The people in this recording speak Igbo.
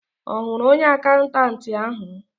Ọ hụrụ onye akaụntanti ahụ?